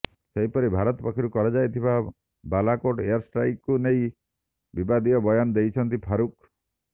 ସେହିପରି ଭାରତ ପକ୍ଷରୁ କରାଯାଇ ବାଲାକୋଟ୍ ଏୟାର୍ଷ୍ଟ୍ରାଇକ୍କୁ ନେଇ ବିବାଦୀୟ ବୟାନ ଦେଇଛନ୍ତି ଫାରୁକ୍